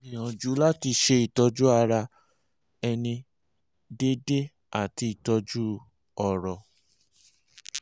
gbìyànjú láti ṣe ìtọ́jú ara ẹni déédéé àti ìtọ́jú ọ̀rọ̀